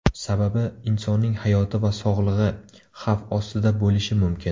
Sababi insonning hayoti va sog‘lig‘i xavf ostida bo‘lishi mumkin.